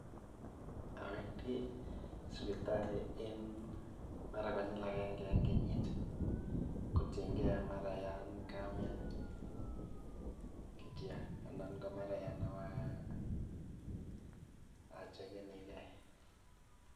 Awendi sipitali en mara konyil akenge en kenyit kotieng'e mara yan kamian kityok anan komaran yan ibochekeni kee.